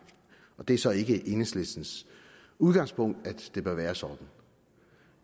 det er så ikke enhedslistens udgangspunkt at det bør være sådan